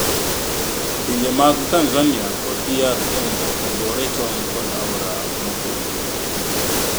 Pinje mag Tanzania kod DR Kongo ogore tong' kod aora mopogogi.